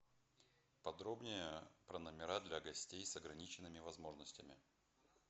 подробнее про номера для гостей с ограниченными возможностями